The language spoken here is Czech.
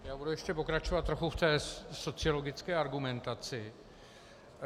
Já budu ještě pokračovat trochu v té sociologické argumentaci.